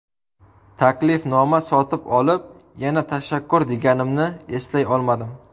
Taklifnoma sotib olib, yana tashakkur deganimni eslay olmadim.